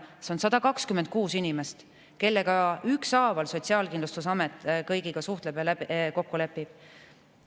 See on 126 inimest, kelle kõigiga Sotsiaalkindlustusamet ükshaaval suhtleb ja kokku lepib.